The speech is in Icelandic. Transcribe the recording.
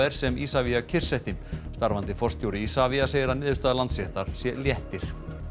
sem Isavia kyrrsetti starfandi forstjóri Isavia segir að niðurstaða Landsréttar í sé léttir